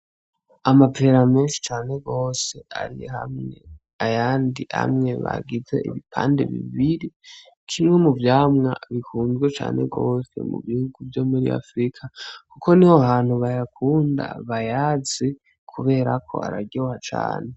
Amapera menshi cane gose ari hamwe, ayandi amwe bagize ibipande bibiri, kimwe mu vyamwa bikunzwe cane gose mu bihugu vyo muri Afurika kuko niho hantu bayakunda, bayazi, kubera ko araryoha cane.